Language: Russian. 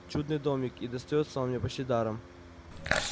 чудный домик и достаётся он мне почти даром